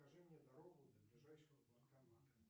покажи мне дорогу до ближайшего банкомата